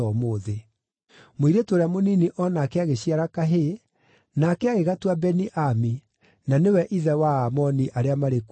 Mũirĩtu ũrĩa mũnini o nake agĩciara kahĩĩ, nake agĩgatua Beni-Ami, na nĩwe ithe wa Aamoni arĩa marĩ kuo nginya ũmũthĩ.